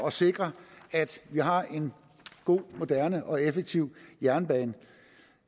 at sikre at vi har en god moderne og effektiv jernbane